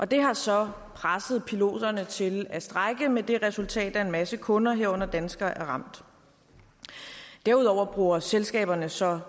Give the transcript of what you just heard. det har så presset piloterne til at strejke med det resultat at en masse kunder herunder danskere er ramt derudover bruger selskaberne så